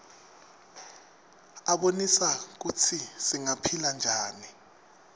abonisa kutsi singaphila njani